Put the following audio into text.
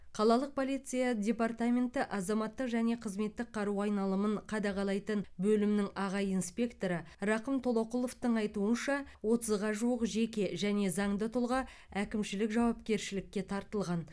қалалық полиция департаменті азаматтық және қызметтік қару айналымын қадағалайтын бөлімнің аға инспекторы рақым толоқұловтың айтуынша отызға жуық жеке және заңды тұлға әкімшілік жауапкершілікке тартылған